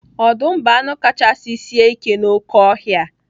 Ọdụm bụ anụ kachasị sie ike n'oké ọhịa.